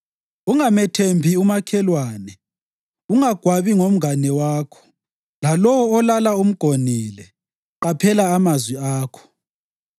Ungamethembi umakhelwane; ungagwabi ngomngane wakho. Lalowo olala umgonile, qaphela amazwi akho.